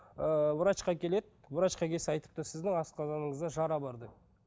ы врачқа келеді врачқа келсе айтыпты сіздің асқазаныңызда жара бар деп